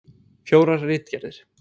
Fjórar ritgerðir.